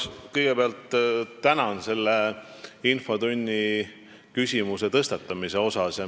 Kõigepealt tänan selle küsimuse tõstatamise eest infotunnis.